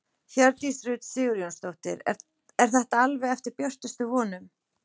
Hjördís Rut Sigurjónsdóttir: Er þetta alveg eftir björtustu vonum?